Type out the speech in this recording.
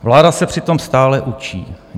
Vláda se přitom stále učí.